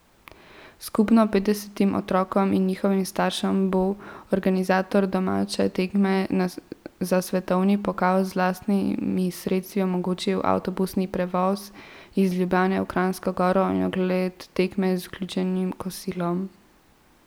Skupno petdesetim otrokom in njihovim staršem bo organizator domače tekme za svetovni pokal z lastnimi sredstvi omogočil avtobusni prevoz iz Ljubljane v Kranjsko Goro in ogled tekme z vključenim kosilom.